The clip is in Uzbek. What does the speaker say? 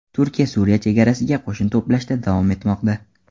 Turkiya Suriya chegarasiga qo‘shin to‘plashda davom etmoqda.